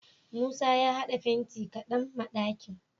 Musa ya had'a fenti kadan ma d'akin